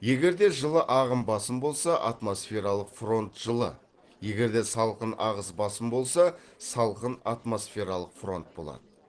егер де жылы ағыс басым болса атмосфералық фронт жылы егер де салқын ағыс басым болса салқын атмосфералық фронт болады